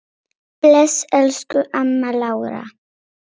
Bless, elsku amma Lára.